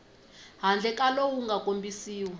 handle ka lowu nga kombisiwa